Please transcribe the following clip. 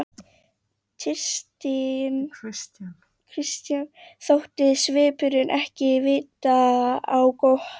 Christian þótti svipurinn ekki vita á gott.